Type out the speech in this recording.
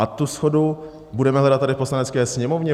A tu shodu budeme hledat tady v Poslanecké sněmovně?